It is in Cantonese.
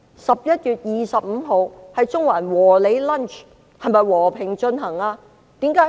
11月25日，中環的"和你 lunch" 是否和平進行？